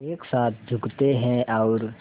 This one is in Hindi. एक साथ झुकते हैं और